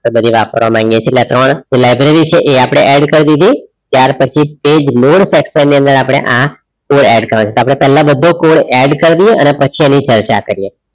એટલે કે વાપરવામાં અહીંયા કેટલા ત્રણ library છે એ આપણે add કર દીધી ત્યાર પછી તે જ nod texter ની અંદર આપણે આ code add કરવાનું છે આપણે પેલા બધો code add કાર્ડીયે અને પછી એની ચર્ચા કરીએ